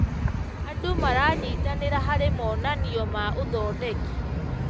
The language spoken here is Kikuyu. Andũ maranyitanĩra harĩ monanio ma ũthondeki.